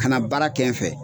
Ka na baara kɛ n fɛ.